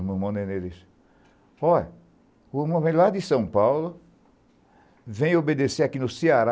O irmão Nenê disse, ó, o irmão vem lá de São Paulo, vem obedecer aqui no Ceará,